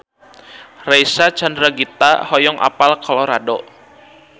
Reysa Chandragitta hoyong apal Colorado